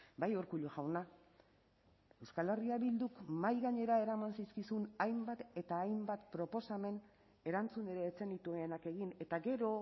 bai urkullu jauna euskal herria bilduk mahai gainera eraman zizkizun hainbat eta hainbat proposamen erantzun ere ez zenituenak egin eta gero